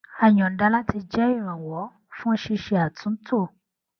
a yọnda láti jẹ ìrànwọ fún ṣíṣe àtúntò